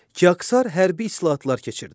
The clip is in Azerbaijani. Kiksər hərbi islahatlar keçirdi.